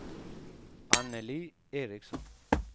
Annelie Ericson